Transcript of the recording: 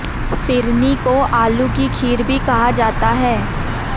फिरनी को आलू की खीर भी कहा जाता है